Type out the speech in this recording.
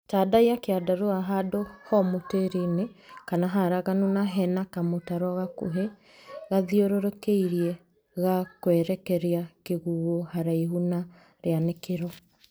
Tandaiya kĩandarũa handũ homũ tĩri-inĩ kana haraganu na hena kamũtaro gakũhĩ gathiũrũrũkĩirie gakwerekeria kĩguũ haraihu na rĩanĩkĩro.